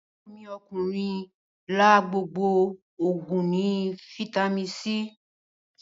Aburo mi okunrin la gbogbo oguin Fítàmì C.